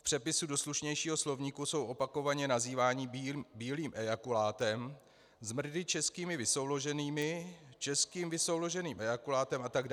V přepisu do slušnějšího slovníku jsou opakovaně nazýváni bílým ejakulátem, zmrdy českými vysouloženými, českým vysouloženým ejakulátem atd.